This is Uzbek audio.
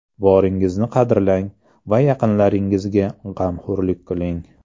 Boringizni qadrlang va yaqinlaringizga g‘amxo‘rlik qiling.